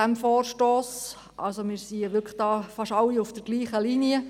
Fast alle befinden sich auf derselben Linie.